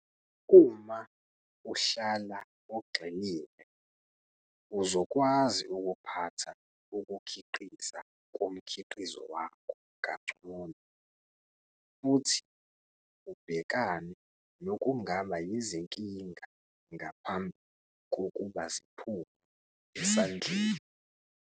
Uma uhlala ugxilile uzokwazi ukuphatha ukukhiqiza komkhiqizo wakho kangcono futhi ubhekane nokungaba yizinkinga ngaphambi kokuba ziphume esandleni.